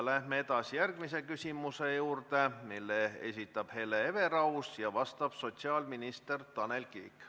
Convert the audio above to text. Läheme edasi järgmise küsimuse juurde, mille esitab Hele Everaus ja millele vastab sotsiaalminister Tanel Kiik.